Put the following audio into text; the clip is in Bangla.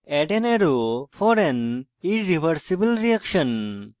add an arrow for an irreversible reaction